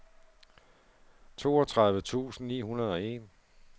toogtredive tusind ni hundrede og en